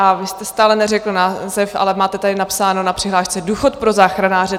A vy jste stále neřekl název, ale máte tady napsáno na přihlášce Důchod pro záchranáře.